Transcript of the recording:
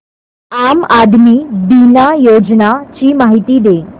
आम आदमी बिमा योजने ची माहिती दे